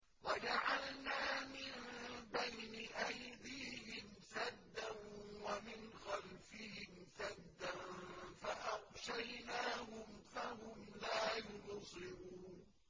وَجَعَلْنَا مِن بَيْنِ أَيْدِيهِمْ سَدًّا وَمِنْ خَلْفِهِمْ سَدًّا فَأَغْشَيْنَاهُمْ فَهُمْ لَا يُبْصِرُونَ